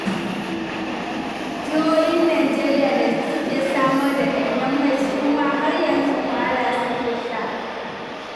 Jihohin Najeriya da suke samar da ɗanyen mai su ma har yanzu wahala suke sha.